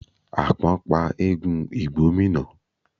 Àpọ́n pa eégún ìgbómínà.